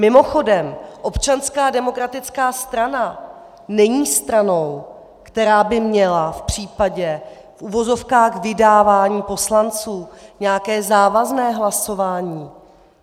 Mimochodem, Občanská demokratická strana není stranou, která by měla v případě v uvozovkách vydávání poslanců nějaké závazné hlasování.